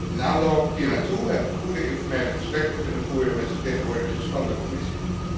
In aanloop hier naartoe heb ik goede informele gesprekken kunnen voeren met de vertegenwoordigers van de Commissie.